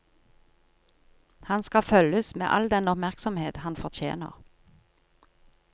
Han skal følges med all den oppmerksomhet han fortjener.